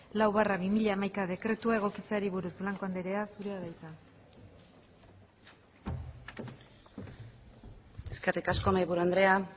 lau barra bi mila hamaika dekretua egokitzeari buruz blanco andrea zurea da hitza eskerrik asko mahai buru andrea